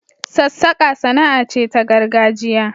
Sassaka sana'a ce ta gargajiya.